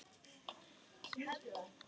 Hann sá ekki betur.